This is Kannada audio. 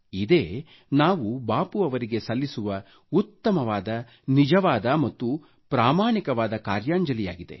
ಇದೇ ನಾವು ಬಾಪು ಅವರಿಗೆ ಸಲ್ಲಿಸುವ ಉತ್ತಮವಾದ ನಿಜವಾದ ಮತ್ತು ಪ್ರಾಮಾಣಿಕವಾದ ಕಾರ್ಯಾಂಜಲಿಯಾಗಿದೆ